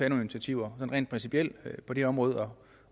initiativer rent principielt på det område